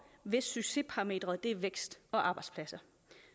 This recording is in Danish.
hvis succesparameteret er vækst og arbejdspladser